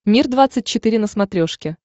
мир двадцать четыре на смотрешке